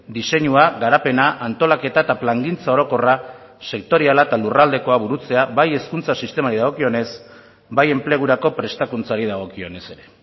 diseinua garapena antolaketa eta plangintza orokorra sektoriala eta lurraldekoa burutzea bai hezkuntza sistemari dagokionez bai enplegurako prestakuntzari dagokionez ere